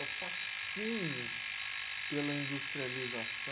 É o fascínio pela